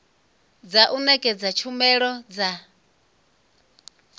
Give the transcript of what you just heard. dza u nekedza tshumelo dza